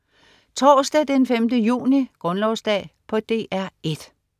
Torsdag den 5. juni - Grundlovsdag - DR 1: